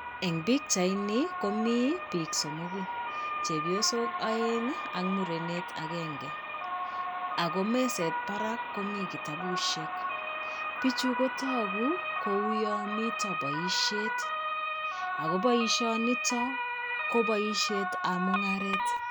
Eng' pichaini komi biik somogu. Chepyosok oeng' ak murenet agenge. Ago meset barak ko mi kitabusiek. Bichu ko tagu ko uyon mito boisiet. Ago boisionito, ko boisietab mung'aret.